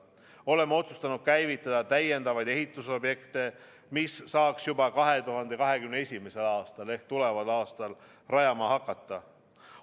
Oleme otsustanud käivitada täiendavaid ehitusobjekte, mida saaks juba 2021. aastal ehk tuleval aastal rajama hakata.